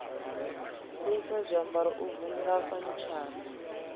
fhisa zwiambaro u vunḓa fanitshara